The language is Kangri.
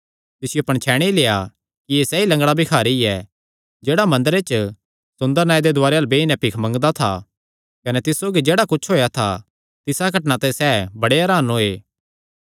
तिसियो पणछैणी लेआ कि एह़ सैई लंगडा भिखारी ऐ जेह्ड़ा मंदरे च सुंदर नांऐ दे दुआरे अल्ल बेई नैं भिख मंगदा था कने तिस सौगी जेह्ड़ा कुच्छ होएया था तिसा घटनां ते सैह़ बड़े हरान होये